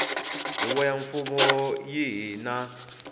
huvo ya mfumo yihi na